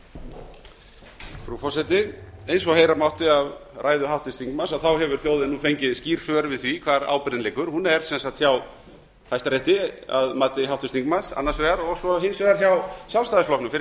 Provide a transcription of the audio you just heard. frú forseti eins og heyra mátti af ræðu háttvirts þingmanns hefur þjóðin nú fengið skýr svör við því hvar ábyrgðin liggur hún er sem sagt hjá hæstarétti að mati háttvirts þingmanns annars vegar og svo hins vegar hjá sjálfstæðisflokksins fyrir